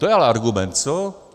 To je ale argument, co?